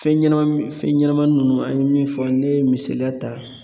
Fɛn ɲɛnɛma fɛn ɲɛnɛmani nunnu , an ye min fɔ ,ne ye misaliya ta